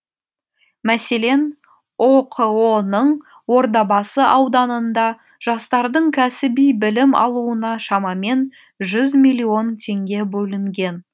мәселен оқо ның ордабасы ауданында жастардың кәсіби білім алуына шамамен жүз миллион теңге бөлінген